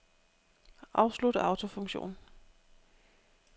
Afslut autofunktion.